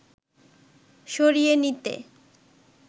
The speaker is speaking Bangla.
সরিয়ে নিতে